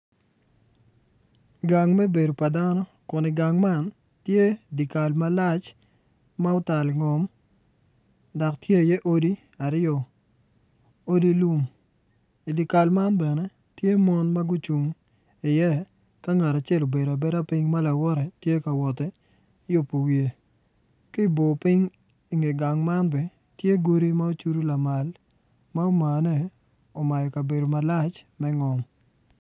Gang me bedo pa dano kun i gang tye dikal malac ma otal ingom dak tye iye odi aryo odi lum idi kal man bene tye mon ma gucung iye ka ngat acel obedo abeda piny ma lawotte tye kawoti yubu wiye ki ibopiny inge gang man bene tye godi ma ocudu lamal ma omane omayo kabedo malac me ngom